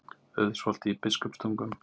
Auðsholti í Biskupstungum.